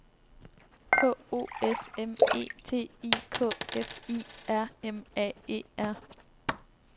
K O S M E T I K F I R M A E R